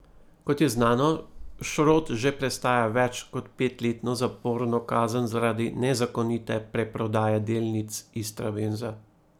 Kot je znano, Šrot že prestaja več kot petletno zaporno kazen zaradi nezakonite preprodaje delnic Istrabenza.